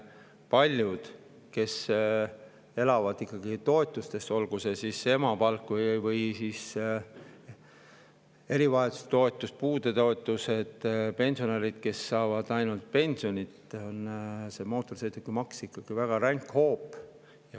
Paljudele, kes elavad toetustest, olgu see siis emapalk või toetus erivajaduse puhul, puudetoetus, ja pensionäridele, kes saavad ainult pensioni, on mootorsõidukimaks väga ränk hoop.